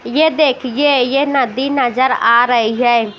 ये देखिए यह नदी नजर आ रही है।